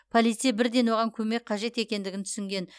полицей бірден оған көмек қажет екендігін түсінген